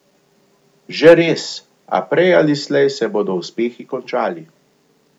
Že res, a prej ali slej se bodo uspehi končali.